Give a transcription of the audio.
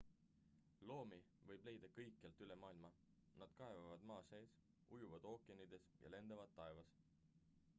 loomi võib leida kõikjalt üle maailma nad kaevavad maa sees ujuvad ookeanides ja lendavad taevas